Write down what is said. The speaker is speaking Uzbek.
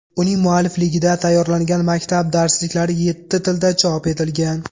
Uning muallifligida tayyorlangan maktab darsliklari yetti tilda chop etilgan.